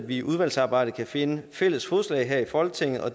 vi i udvalgsarbejdet kan finde fælles fodslag her i folketinget og